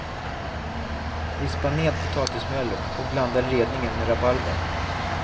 Vispa ned potatismjölet och blanda redningen med rabarbern.